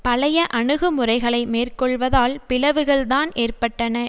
பழைய அணுகுமுறைகளை மேற்கொள்வதால் பிளவுகள்தான் ஏற்பட்டன